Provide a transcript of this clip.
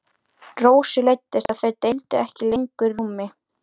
Rósu leiddist að þau deildu ekki lengur rúmi.